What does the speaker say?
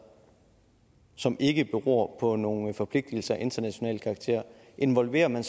som ikke beror på nogen forpligtelser af international karakter involverer man